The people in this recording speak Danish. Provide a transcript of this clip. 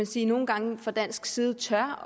sige nogle gange fra dansk side tør